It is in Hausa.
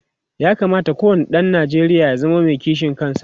ya kamata ko wani ɗan Nijeriya ya zamo Mai kishin ƙasa